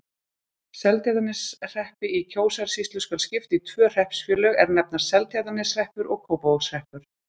Seltjarnarneshreppi í Kjósarsýslu skal skipt í tvö hreppsfélög, er nefnast Seltjarnarneshreppur og Kópavogshreppur.